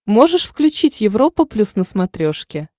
можешь включить европа плюс на смотрешке